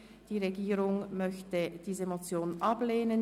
Die Regierung möchte diese ablehnen.